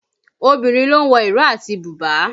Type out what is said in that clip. Obìnrin ló ń wo ìró àti bùbá